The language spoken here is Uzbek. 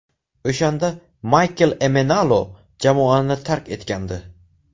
O‘shanda Maykl Emenalo jamoani tark etgandi.